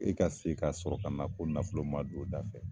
E ka se ka sɔrɔ ka na ko nafolo ma don o da fɛ